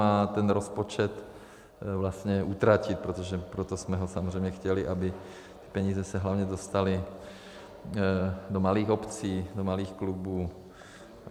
A ten rozpočet vlastně utratit, protože proto jsme ho samozřejmě chtěli, aby peníze se hlavně dostaly do malých obcí, do malých klubů.